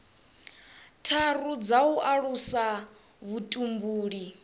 tharu dza u alusa vhutumbuli